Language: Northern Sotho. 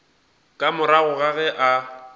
ka morago ga ge a